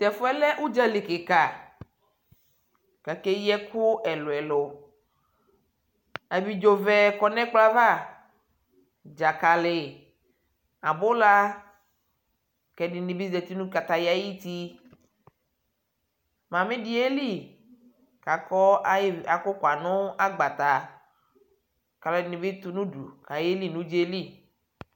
Tɛfuɛ lɛ uɖʒali kika kakeyi ɛku ɛluɛlu abiɖʒovɛ kɔnɛkplɔava ɖʒakali abula kɛdinibi zati nu kataya ayutii mamii di yeli kakɔ akukwa nagbatɛ kaluɛdini bi tunudukayi keli nuɖʒaeli